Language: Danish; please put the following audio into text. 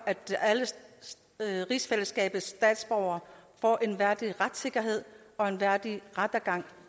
at alle rigsfællesskabets statsborgere får en værdig retssikkerhed og en værdig rettergang